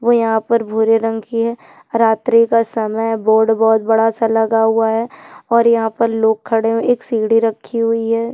और यहाँ पर भुरे रंग कि हैं रात्री का समय है बोर्ड बोहत बड़ा सा लगा हुआ है और यहाँ पर लोग खड़े हुए हैं एक सीढ़ी रखी हुई हैं।